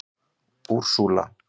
Úrsúla